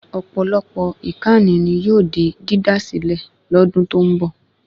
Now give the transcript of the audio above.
Ọ̀pọ̀lọpọ̀ ìkànnì ni yóò di dídá sílẹ̀ lọ́dún tó ń bọ̀